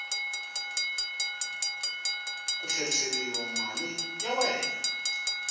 ku tlherisela mali ya wena